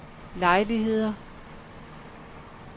lejligheder